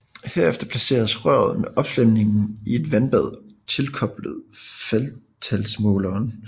Herefter placeres røret med opslæmningen i et vandbad tilkoblet faldtalsmåleren